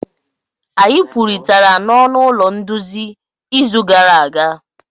Anyị kwurịtara n'ọnụ ụlọ nduzi izu gara aga.